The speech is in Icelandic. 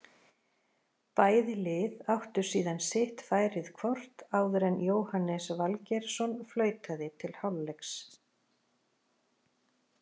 Bæði lið áttu síðan sitt færið hvort áður en Jóhannes Valgeirsson flautaði til hálfleiks.